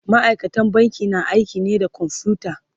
ma'aikatan banki na aiki ne da kwamfuta